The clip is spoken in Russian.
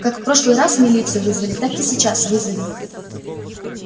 как в прошлый раз милицию вызвали так и сейчас вызовем